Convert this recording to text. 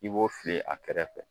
I b'o fili a kɛrɛfɛ.